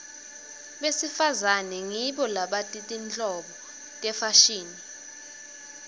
besifazane ngibo labati tinhlobo tefashini